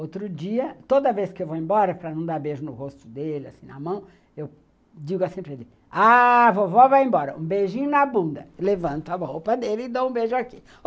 Outro dia, toda vez que eu vou embora para não dar beijo no rosto dele, assim, na mão, eu digo assim para ele, ah, vovó vai embora, um beijinho na bunda, levanto a roupa dele e dou um beijo aqui.